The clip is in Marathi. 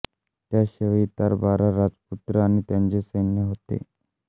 त्याशिवाय इतर बारा राजपुत्र आणि त्यांचे सैन्य होते